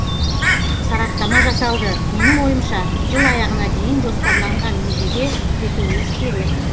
сараптама жасалды менің ойымша жыл аяғына дейін жоспарланған межеге жетуіміз керек